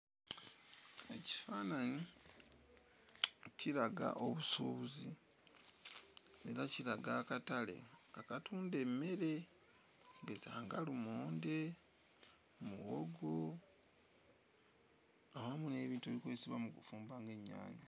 Ekifaananyi kiraga obusuubuzi era kiraga akatale akatunda emmere okugeza nga lumonde, muwogo awamu n'ebintu ebikozesebwa mu kufumba ng'ennyaanya.